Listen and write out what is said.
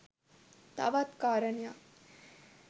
තවත් කාරණයක්